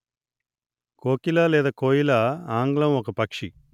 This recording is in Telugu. కోకిల లేదా కోయిల ఆంగ్లం ఒక పక్షి